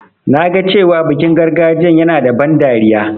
Na ga cewa bikin gargajiyan yana da ban dariya.